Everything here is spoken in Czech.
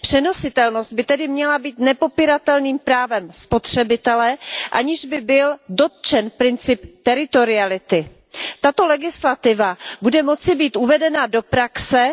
Přenositelnost by tedy měla být nepopíratelným právem spotřebitele, aniž by byl dotčen princip teritoriality. Tato legislativa bude moci být uvedena do praxe,